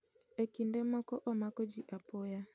E kinde moko omako ji apoya